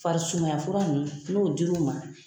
Fari sumaya fura ninnu n'u dir'u ma.